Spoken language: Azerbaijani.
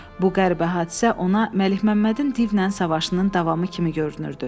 Bu qəribə hadisə ona Məlikməmmədin divlə savaşının davamı kimi görünürdü.